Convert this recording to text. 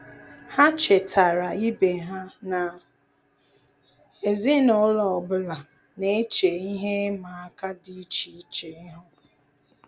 Há chètàrà ibe ha na ezinụlọ ọ bụla nà-échè ihe ịma aka dị́ iche iche ihu.